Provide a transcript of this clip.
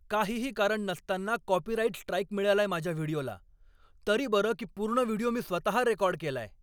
काहीही कारण नसताना कॉपीराइट स्ट्राइक मिळालाय माझ्या व्हिडिओला. तरी बरं की पूर्ण व्हिडिओ मी स्वतः रेकॉर्ड केलाय.